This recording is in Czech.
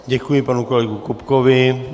Děkuji panu kolegovi Kupkovi.